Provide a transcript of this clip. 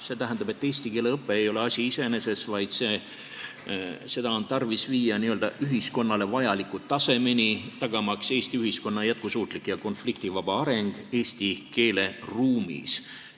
See tähendab, et eesti keele õpe ei ole asi iseeneses, vaid see on tarvis viia n-ö ühiskonnale vajalikule tasemele, tagamaks Eesti ühiskonna jätkusuutlik ja konfliktivaba areng eesti keele ruumis.